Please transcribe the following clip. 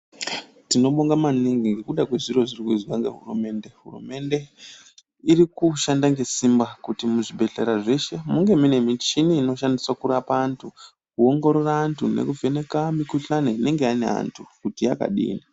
Tinobonga maningi ngekuda kwezviro zviri kuizwa ngehurumende, hurumende irikushanda ngesimba kuti muzvibhedhleya zveshe munge mune michini inoshandiswa kurapa antu kuongorora antu nekuvheneka mikuhlani inenge ine antu kuti yakadini.